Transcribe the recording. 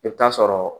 I bɛ taa sɔrɔ